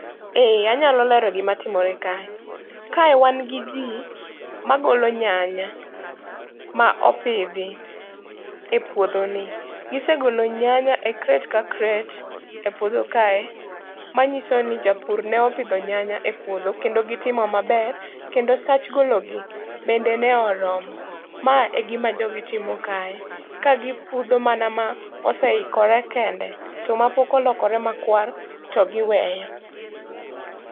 Ee, anyalo lero gima timore kae. Kae wan gi ji magolo nyanya, ma opidhi e puodho ni. Gisegolo nyanya e crate ka crate e puodho kae, manyiso ni japur ne opidho nyanya e puodho. Kendo gitimo maber, kendo sach gologi bende ne oromo. Ma e gima jogi timo kae, ka gipudho mana ma oseikore kende. To mapok olokore markwar to giweyo.